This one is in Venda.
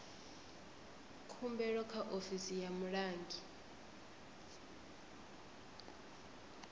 khumbelo kha ofisi ya mulangi